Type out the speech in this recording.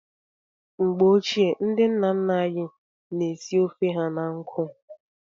Mgbe ochie, ndị nna nna anyị na-esi ofe ha na nkụ.